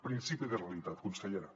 principi de realitat consellera